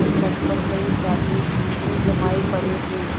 तट पर कई साधु धूनी जमाये पड़े थे